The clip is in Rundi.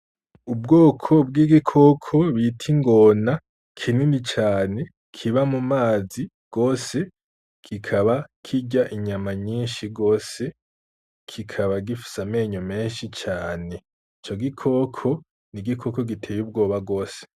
Ubwoko bw'igikoko bita ingona kinini cane, kiba mumazi gose kikaba kirya inyama nyinshi gose , kikaba gifise amenyo menshi cane , ico gikoko n'igikoko giteye ubwoba gose .